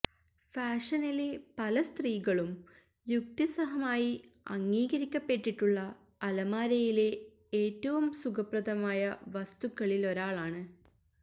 ഫാഷനിലെ പല സ്ത്രീകളും യുക്തിസഹമായി അംഗീകരിക്കപ്പെട്ടിട്ടുള്ള അലമാരയിലെ ഏറ്റവും സുഖപ്രദമായ വസ്തുക്കളിലൊരാളാണ്